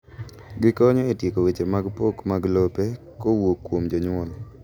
Gikonyo e tieko weche mag pok mag lope kuwuok kuom jonyuol.